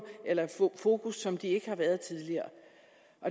eller fokus som de ikke har været tidligere